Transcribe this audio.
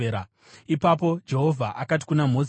Ipapo Jehovha akati kuna Mozisi,